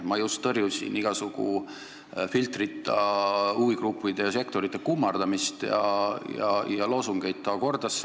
Ma just nimelt taunisin igasuguse filtrita huvigruppide sektorite kummardamist ja loosungite hõikamist.